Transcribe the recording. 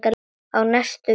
Á næstu vikum.